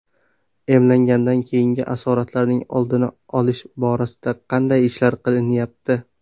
Emlangandan keyingi asoratlarning oldini olish borasida qanday ishlar qilinyapti?